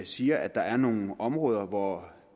siger at der er nogle områder hvor